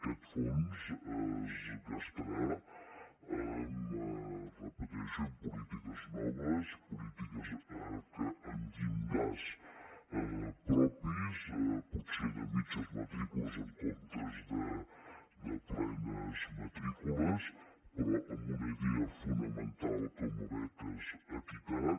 aquest fons es gastarà ho repeteixo en polítiques noves polítiques amb llindars propis potser de mitges matrícules en comptes de plenes matrícules però amb una idea fonamental com a beques equitat